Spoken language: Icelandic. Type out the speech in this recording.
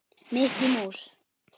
Mikki mús.